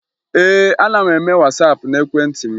Ee, ana m eme Wasaapụ n'ekwentị m